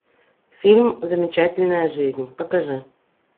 фильм замечательная жизнь покажи